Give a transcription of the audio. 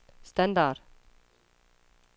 standard